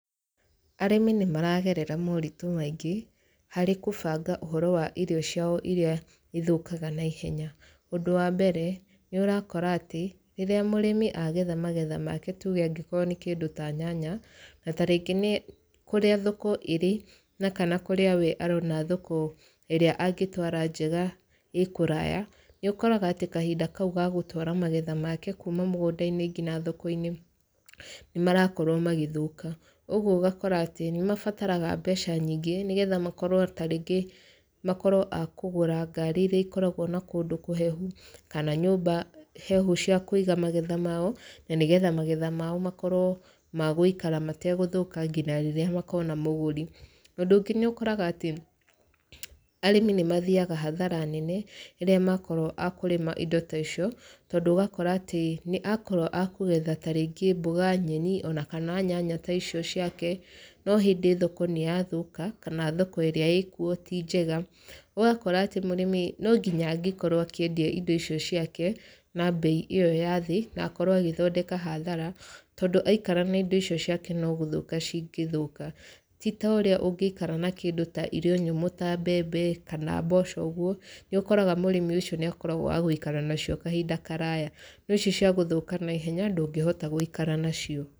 Arĩmi nĩ maragerera moritũ maingĩ, harĩ kũbanga ũhoro wa irio ciao irĩa ithũkaga naihenya. Ũndũ wa mbere, nĩ ũrakora atĩ, rĩrĩa mũrĩmi agetha magetha make tuge angĩkorwo nĩ kĩndũ ta nyanya, na tarĩngĩ nĩ kũrĩa thoko ĩrĩ na kana kũrĩa we arona thoko ĩrĩa angĩtwara njega ĩĩ kũraya, nĩ ũkoraga atĩ kahinda kau ga gũtwara magetha make kuuma mũgũnda-inĩ ngina thoko-inĩ nĩ marakorwo magĩthũka. Ũguo ũgakora atĩ, nĩ mabataraga mbeca nyingĩ, nĩgetha makorwo tarĩngĩ makorwo a kũgũra ngari irĩa ikoragwo na kũndũ kũhehu, kana nyũmba hehu cia kũiga magetha mao, na nĩgetha magetha mao makorwo ma gũikara mategũthũka ngina rĩrĩa makona mũgũri. Ũndũ ũngĩ nĩ ũkoraga atĩ, arĩmi nĩ mathiaga hathara nene, rĩrĩa makorwo a kũrĩma indo ta icio, tondũ ũgakora atĩ, nĩ akorwo a kũgetha tarĩngĩ mbũga, nyeni, ona kana nyanya ta icio ciake, no hĩndĩ thoko nĩ yathũka, kana thoko ĩrĩa ĩĩ kuo ti njega. Ũgakora atĩ mũrĩmi no nginya angĩkorwo akĩendia indo ico ciake, na mbei ĩyo ya thĩ, na akorwo agĩthondeka hathara, tondũ aikara na indo ico ciake no gũthũka cingĩthũka. Ti ta ũrĩa ũngĩikara na kĩndũ ta irio nyũmũ ta mbembe, kana mboco ũguo, nĩ ũkoraga mũrĩmi ũcio nĩ akoragwo wa gũikara nacio kahinda karaya. No ici cia gũthũka naihenya ndũngĩhota gũikara nacio.